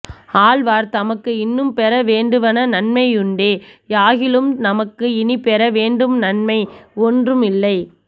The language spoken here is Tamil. ஆழ்வார் தமக்கு இன்னும் பெற வேண்டுவன நன்மை யுண்டே யாகிலும் நமக்கு இனிப் பெற வேண்டும் நன்மை ஒன்றும் இல்லை